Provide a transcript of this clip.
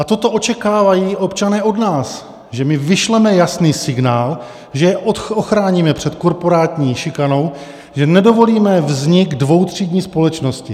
A toto očekávají občané od nás, že my vyšleme jasný signál, že je ochráníme před korporátní šikanou, že nedovolíme vznik dvoutřídní společnosti!